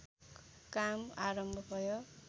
काम आरम्भ भयो